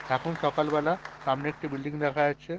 এখন সকাল বেলা। সামনে একটি বিল্ডিং দেখা যাচ্ছে।